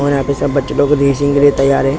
और यहाँ पे सब बच्चे लोग रेसिंग के लिए तैयार हैं --